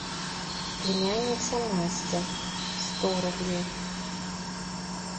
племянница настя сто рублей